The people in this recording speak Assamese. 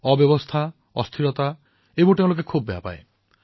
অব্যৱস্থা অস্থিৰতা এইসমূহৰ প্ৰতি তেওঁলোক অতিশয় ক্ষুণ্ণ হৈ উঠে